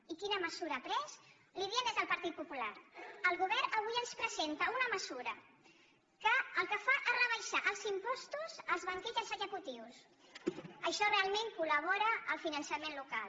i quina mesura ha pres li ho diem des del partit popular el govern avui ens presenta una mesura que el que fa és rebaixar els impostos als banquers i als executius això realment collabora al finançament local